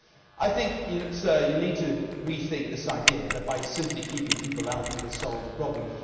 Sir, I think you need to rethink this idea that, by simply keeping people out, we will solve the problem.